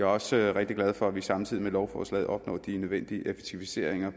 også rigtig glad for at vi samtidig med lovforslaget opnår de nødvendige effektiviseringer